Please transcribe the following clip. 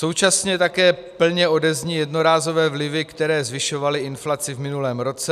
Současně také plně odezní jednorázové vlivy, které zvyšovaly inflaci v minulém roce.